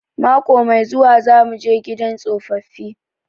Mako mai zuwa za muje gidan tsofaffi